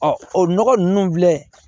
o nɔgɔ ninnu filɛ